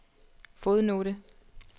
fodnote